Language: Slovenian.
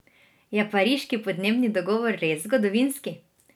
Je pariški podnebni dogovor res zgodovinski?